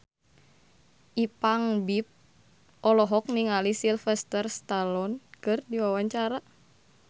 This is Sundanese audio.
Ipank BIP olohok ningali Sylvester Stallone keur diwawancara